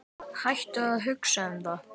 Hættu að hugsa um það.